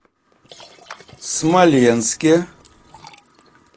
смоленске